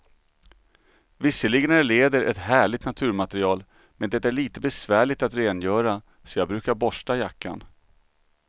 Visserligen är läder ett härligt naturmaterial, men det är lite besvärligt att rengöra, så jag brukar borsta jackan.